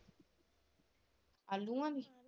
ਆਲੂਆਂ ਦੀ।